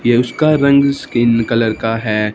ये उसका रंग स्किन कलर का हैं।